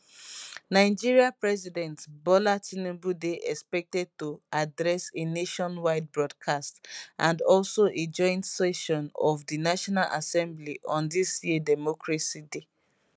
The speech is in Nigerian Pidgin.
nigeria president bola tinubu dey expected to address a nationwide broadcast and also a joint session of di national assembly on dis year democracy day